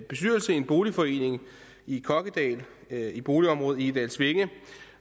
en boligforening i kokkedal i boligområdet egedalsvænge